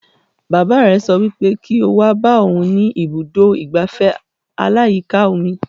Bàbá rẹ̀ sọ wípé kí o wá bá òhun ní ibùdó ìgbafẹ́ aláyíká omi